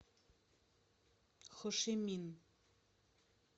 хошимин